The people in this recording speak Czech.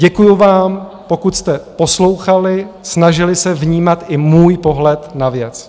Děkuji vám, pokud jste poslouchali, snažili se vnímat i můj pohled na věc.